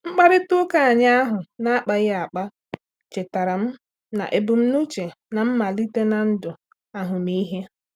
Mkparịta ụka anyị ahụ na-akpaghi akpa chetaara m na ebumnuche na-malite na ndụ ahụmịhe